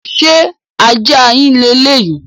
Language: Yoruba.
Ṣé ajá yín le léyìí?